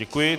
Děkuji.